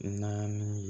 Naani